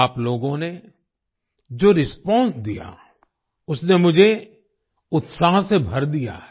आप लोगों ने जो रिस्पांस दिया उसने मुझे उत्साह से भर दिया है